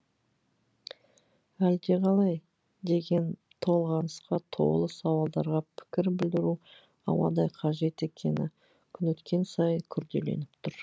әлде қалай деген толғанысқа толы сауалдарға пікір білдіру ауадай қажет екені күн өткен сайын күрделеніп тұр